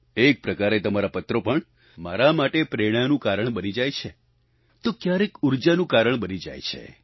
એક પ્રકારે તમારા પત્રો પણ મારા માટે પ્રેરણાનું કારણ બની જાય છે તો ક્યારેક ઉર્જાનું કારણ બની જાય છે